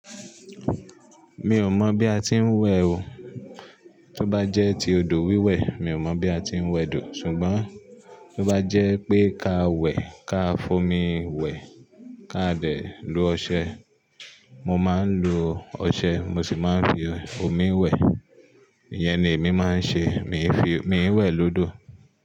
Mi ò mọ̀n bí a ti ń wẹ̀ o. Tí ó bá jẹ́ ti odò wíwẹ̀, mi ò mọ̀ bí a ti ń wẹ̀ odò, ṣùgbọ́n tí ó bá jẹ́ pé ká wẹ̀, ká fomi wẹ̀, ká dẹ̀ lo ọṣẹ, mo máa ń lo ọṣẹ, mo sì máa ń fi omi wẹ̀. Íyẹn ni èmi máa ń ṣe. Mi ń fi, mi ń wẹ̀ lódò.